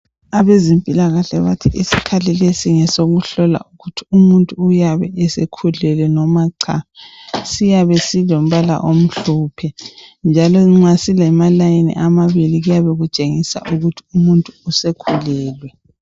Abezempilakahle bathi isikhali lesi ngesokuhlola ukuthi umuntu uyabe esekhulelwe noma cha. Siyabe silombala omhlophe njalo nva silamalayini siyabe sitshengisa ukuthi umuntu usekhulelwe.